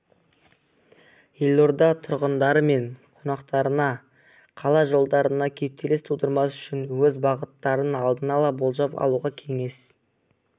елорда тұрғындары мен қонақтарына қала жолдарында кептеліс тудырмас үшін өз бағыттарын алдын ала болжап алуға кеңес